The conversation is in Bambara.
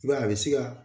I b'a ye a bɛ se ka